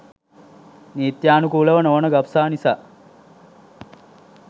නීත්‍යානුකූල නොවන ගබ්සා නිසා